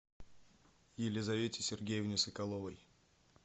елизавете сергеевне соколовой